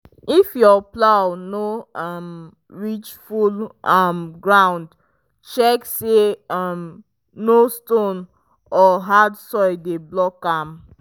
if your plow no um reach full um ground check say um no stone or hard soil dey block am.